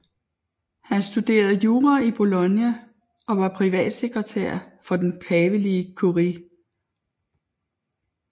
Han studerede jura i Bologna og var privatsekretær for den pavelige kurie